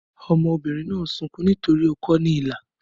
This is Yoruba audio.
Ọmọbìnrin náà ń sunkún nítorí ó kọ ọ́ ní ilà